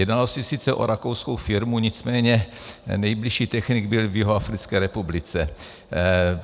Jednalo se sice o rakouskou firmu, nicméně nejbližší technik byl v Jihoafrické republice.